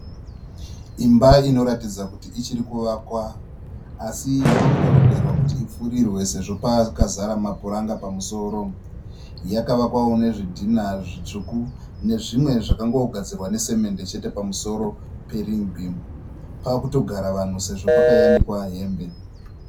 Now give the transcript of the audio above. Imba inoratidza kuti ichirikuvakwa. Asi yavakutorongerwa kuti ipfurirwe sezvo pakazara mapuranga pamusoro. Yakavakwawo nezvitinha zvitsvuku nezvimwe zvangogadzirwa nesemende chete pamusoro perin'i bhimu. Pakutogara vanhu sezvo pakayanikwa hembe.